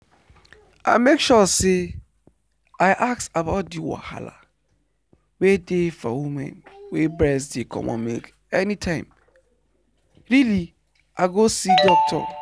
i make sure say i ask about the wahala wey dey for women wey breast dey comot milk anytime really i go see doctor.